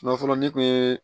fɔlɔ ne tun ye